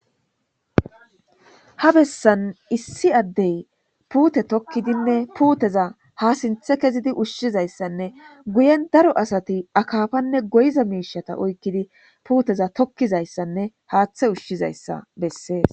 Ha bessan issi addey puute tokkidinne puuteza ha sinthe kezidi ushshizayssanne guyen daro asati akaafanne goyza miishata oykkidi puuteza tokkizayssanne haaththe ushshizayssa bessees.